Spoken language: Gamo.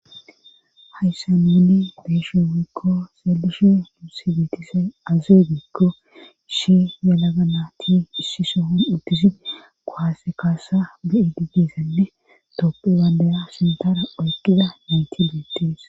Hayssa meeni beeshon wuikko selishi huusi geetisay azee gikko ishi yelaga na ti issi sohon uddisi kohase kaasa be7idibdisanne toppe baadaya sintara oyqida neyti beettees